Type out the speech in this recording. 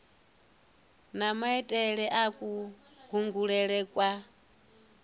na maitele a kulangulele kwa